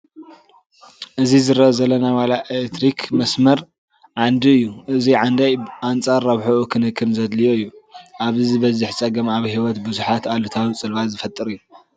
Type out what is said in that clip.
እዚ ዝርአ ዘሎ ናይ ዋና ኤለክትሪክ መስመር ዓንዲ እዩ፡፡ እዚ ዓንዲ ብኣንፃር ረብሕኡ ክንክን ዘድልዮ እዩ፡፡ ኣብዚ ዝበፅሕ ፀገም ኣብ ህይወት ብዙሓት ኣሉታዊ ፅልዋ ዝፈጥር እዩ፡፡